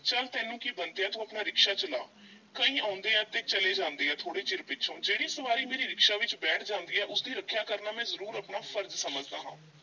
ਚੱਲ ਤੈਨੂੰ ਕੀ ਬੰਤਿਆ ਤੂੰ ਆਪਣਾ ਰਿਕਸ਼ਾ ਚਲਾ, ਕਈ ਆਉਂਦੇ ਆ ਤੇ ਚਲੇ ਜਾਂਦੇ ਆ ਥੋੜੇ ਚਿਰ ਪਿੱਛੋਂ, ਜਿਹੜੀ ਸਵਾਰੀ ਮੇਰੇ ਰਿਕਸ਼ਾ ਵਿੱਚ ਬੈਠ ਜਾਂਦੀ ਐ ਉਸਦੀ ਰੱਖਿਆ ਕਰਨਾ ਮੈਂ ਜ਼ਰੂਰ ਆਪਣਾ ਫ਼ਰਜ਼ ਸਮਝਦਾਂ ਹਾਂ।